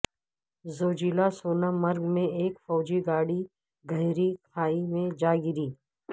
Zojila Sonamarg میں ایک فوجی گاڑی گہری کھائی میں جاگری